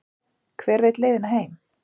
hver veit leiðina heim